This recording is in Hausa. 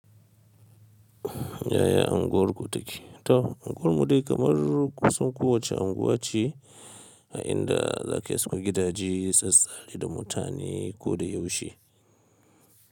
Yaya unguwarku take? To, unguwarmu dai kamar kusan kowace unguwa ce a inda zaka iso gidaje, tsatsaye da mutane ko da yaushe.